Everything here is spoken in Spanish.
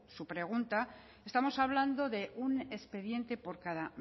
su pregunta estamos hablando de un expediente por cada